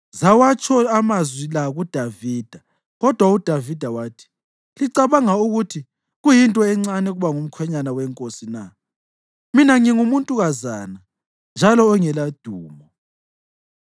Zawatsho amazwi la kuDavida kodwa uDavida wathi, “Licabanga ukuthi kuyinto encane ukuba ngumkhwenyana wenkosi na? Mina ngingumuntukazana njalo ongeladumo.”